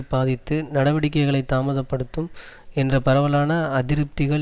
பாதித்து நடவடிக்கைகளைத் தாமத படுத்தும் என்ற பரவலான அதிருப்திகள்